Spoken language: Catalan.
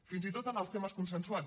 fins i tot en els temes consensuats